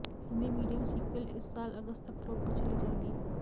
Hindi medium sequel इस साल अगस्त तक फ्लोर पर चली जाएगी